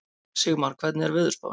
Sigmar, hvernig er veðurspáin?